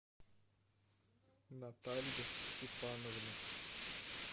наталью степановну